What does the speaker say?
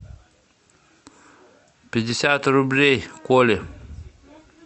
пятьдесят рублей коле